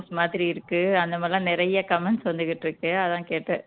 மாதிரி இருக்கு அந்த மாதிரி எல்லாம் நிறைய comments வந்துகிட்டு இருக்கு அதான் கேட்டேன்